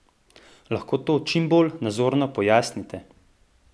Lahko to čim bolj nazorno pojasnite?